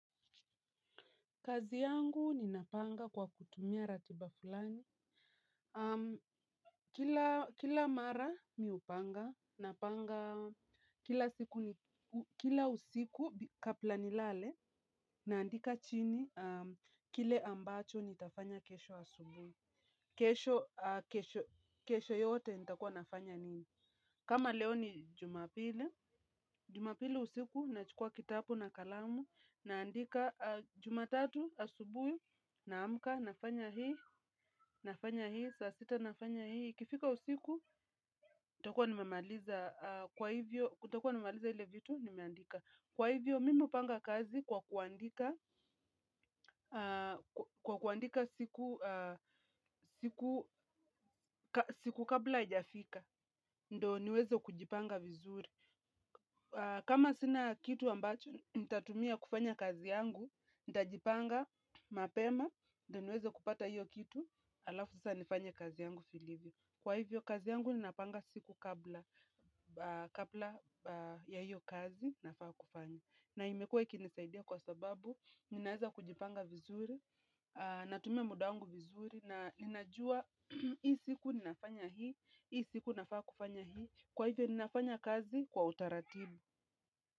Kazi yangu ni napanga kwa kutumia ratiba fulani. Kila mara mimi hupanga, napanga kila usiku kabla nilale, naandika chini, kile ambacho nitafanya kesho asubuhi. Kesho yote nitakua nafanya nini. Kama leo ni jumapili, jumapili usiku na chukua kitabu na kalamu, naandika jumatatu asubuhi na amka, nafanya hii, nafanya hii, saa sita nafanya hii. Ikifika usiku, nitakuwa nimemaliza zile vitu, nimeandika. Kwa hivyo, mimi hupanga kazi kwa kuandika kwa kuandika siku kabla haiafika, ndiyo niweze kujipanga vizuri. Kama sina kitu ambacho, nitatumia kufanya kazi yangu, nitajipanga mapema, ndiyo niweze kupata hiyo kitu, alafu sasa nifanye kazi yangu vizuri. Kwa hivyo kazi yangu ninapanga siku kabla ya hiyo kazi nafaa kufanya. Na imekuwa ikinisaidia kwa sababu, ninaweza kujipanga vizuri, natumia muda wangu vizuri. Ninajua, hii siku ninafanya hii, hii siku ninafaa kufanya hii, kwa hivyo ninafanya kazi kwa utaratibu.